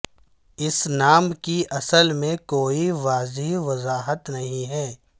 اس نام کی اصل میں کوئی واضح وضاحت نہیں ہے